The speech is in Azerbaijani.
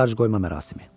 Tacqoyma mərasimi.